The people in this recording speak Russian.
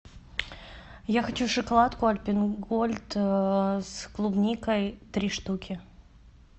я хочу шоколадку альпен гольд с клубникой три штуки